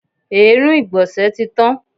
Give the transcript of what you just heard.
Èérún ìgbọ̀nsẹ̀ tí tán.